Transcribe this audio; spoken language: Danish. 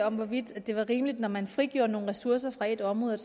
om hvorvidt det var rimeligt når man frigjorde nogle ressourcer fra et område